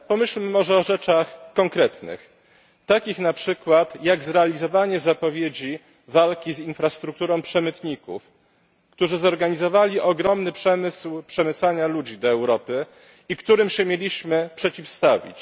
Pomyślmy może o rzeczach konkretnych, takich na przykład jak zrealizowanie zapowiedzi walki z infrastrukturą przemytników, którzy zorganizowali ogromny przemysł przemycania ludzi do Europy i którym się mieliśmy przeciwstawić.